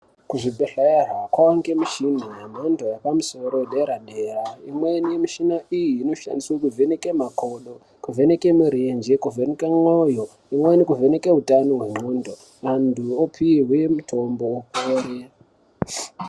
Kuzvibhedhlera kwaange mishina yemhando yepamusoro yedera-dera. Imweni yemishina iyi, inoshandiswe kuvheneke makondo, kuvheneke mirenje, kuvheneke mwoyo, imweni kuvheneke utano hwendxondo, antu opihwe mitombo amwe.